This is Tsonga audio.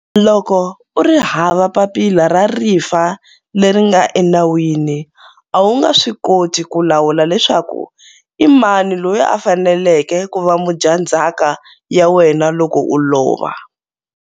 Loko u ri hava papila ra rifa leri nga enawini, a wu nga swi koti ku lawula leswaku imani loyi a faneleke ku va mudyandzhaka ya wena loko u lova.